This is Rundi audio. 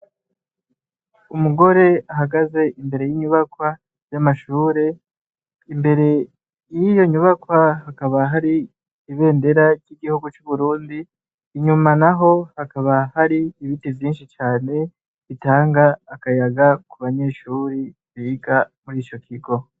Umugore ahagaze imbere y'inyubakwa y'amashure, imbere y'iyo nyubakwa hakaba hari ibendera ry'igihugu c'uburundi, inyuma naho hakaba har, ibiti vyinshi cane bitanga akayaga ku banyeshure biga muri ico kigo.